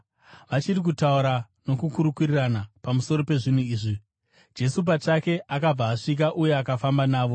Vachiri kutaura nokukurukurirana pamusoro pezvinhu izvi, Jesu pachake akabva asvika uye akafamba navo;